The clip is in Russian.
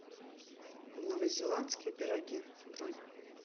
новозеландские пироги бронь